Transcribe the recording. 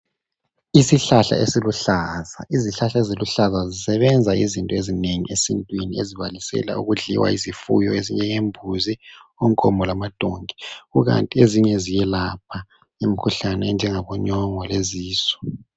Isihlahla esiluhlaza, izihlahla eziluhlaza sisebenza izinto ezinengi esintwini ezibalisela ukudliwa yizifuyo ezinjengembuzi, onkomo lamadonki kukanti ezinye ziyelapha imikhuhlane enjengabonyongo lezisu.